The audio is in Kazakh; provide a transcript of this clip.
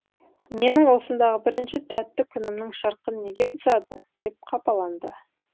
менің осындағы бірінші тәтті күнімнің шырқын неге бұзады деп қапаланды